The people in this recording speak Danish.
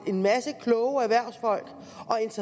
en masse kloge erhvervsfolk